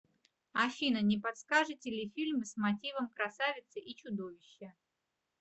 афина не подскажите ли фильм с мотивом красавицы и чудовища